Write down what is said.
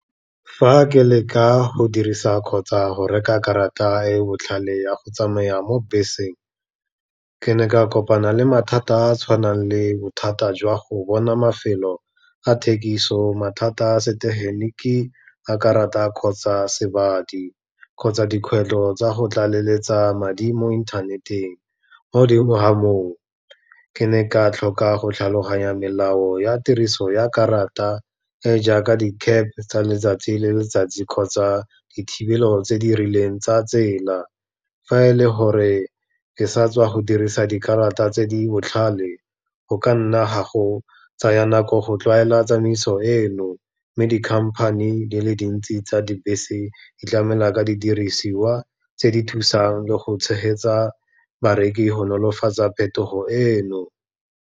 Fa ke leka go dirisa kgotsa go reka karata e e botlhale ya go tsamaya mo beseng, ke ne ka kopana le mathata a a tshwanang le bothata jwa go bona mafelo ga thekiso, mathata setegeniki, a karata kgotsa sebadi, kgotsa dikgwetlho tsa go tlaleletsa madi mo inthaneteng. Mo godimo ga moo, ke ne ka tlhoka go tlhaloganya melao ya tiriso ya karata e jaaka di-cab tsa letsatsi le letsatsi kgotsa dithibelo tse di rileng tsa tsela. Fa e le gore di sa tswa go dirisa dikarata tse di botlhale go ka nna ga go tsaya nako go tlwaela tsamaiso eno, mme di-company di le dintsi tsa dibese di tlamela ka didirisiwa tse di thusang le go tshegetsa bareki go nolofatsa phetogo eno.